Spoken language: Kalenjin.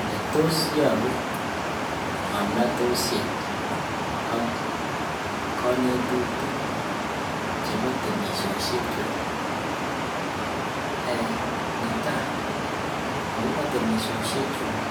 Ele tos yobuu ngomnotosiek ak konetutik chebo temishechu netaa akobo temimishoshekyuk